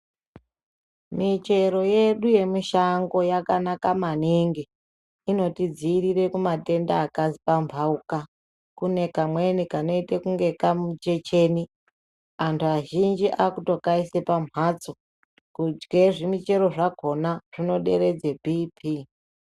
Michero yedu yemushango yakanaka maningi inotidziirira kumatenda akapambauka kune kamweni kanoita kunge kamuchecheni antu azhinji akukaisa pambatso kudye zvimuchero zvakona zvinoderedza Bhii Pii.